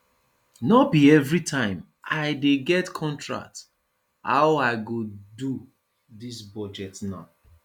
no be everytime i dey get contract how i go do dis budget now